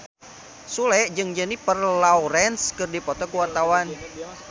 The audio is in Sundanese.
Sule jeung Jennifer Lawrence keur dipoto ku wartawan